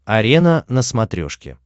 арена на смотрешке